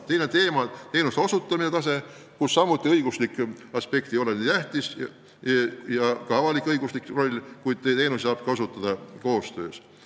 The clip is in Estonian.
Teiseks, teenuste osutamine, kus samuti õiguslik aspekt ei ole nii tähtis, samuti avalik-õiguslik roll, kuid teenuseid saab pakkuda koostöös.